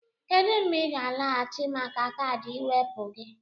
Kedu mgbe ị ga-alọghachi maka kaadị ịwepụ gị?